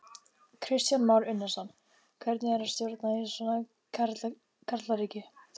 Kristján Már Unnarsson: Hvernig er að stjórna í svona karlaríki?